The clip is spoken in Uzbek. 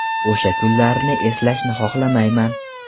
O‘sha kunlarni eslashni xohlamayman.